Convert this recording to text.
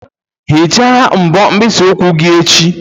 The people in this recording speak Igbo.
Hichaa mbọ mkpịsị ụkwụ gị echi!